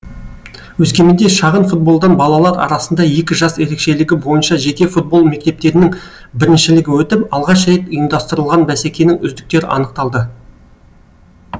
өскеменде шағын футболдан балалар арасында екі жас ерекшелігі бойынша жеке футбол мектептерінің біріншілігі өтіп алғаш рет ұйымдастырылған бәсекенің үздіктері анықталды